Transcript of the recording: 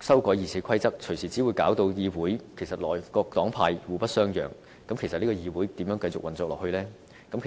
修改《議事規則》，隨時只會令議會內各黨派更互不相讓，那麼這個議會又如何繼續運作下去呢？